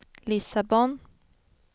Lissabon